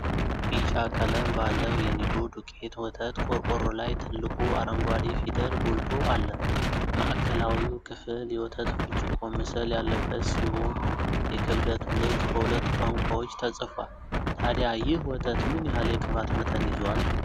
ቢጫ ቀለም ባለው የኒዶ ዱቄት ወተት ቆርቆሮ ላይ ትልቁ አረንጓዴ ፊደል ጎልቶ አለ። ማዕከላዊው ክፍል የወተት ብርጭቆ ምስል ያለበት ሲሆን፣ የክብደቱ ልክ በሁለት ቋንቋዎች ተጽፏል። ታዲያ ይህ ወተት ምን ያህል የቅባት መጠን ይዟል?